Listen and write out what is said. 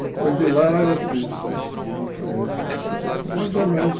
Depois de lá eu fiz o curso em quarenta e quatro, mais ou menos.